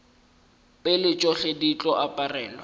pele tšohle di tlo aparelwa